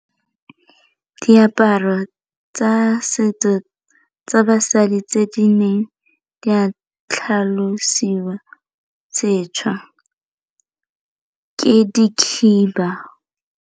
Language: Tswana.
Diaparo tsa setso tsa basadi tse di neng di a tlhalosiwa setšha ke di khiba.